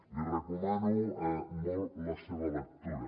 li recomano molt la seva lectura